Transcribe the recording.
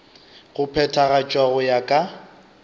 go phethagatšwa go ya ka